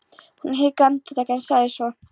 Hún hikaði andartak en sagði svo